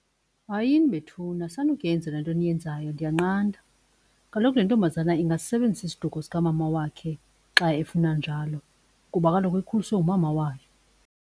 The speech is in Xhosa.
Hayini bethuna, sanukuyenza le nto niyenzayo ndiyanqanda. Kaloku le ntombazana ingasisebenzisa isiduko sikamama wakhe xa efuna njalo kuba kaloku ukhuliswe ngumama wakhe.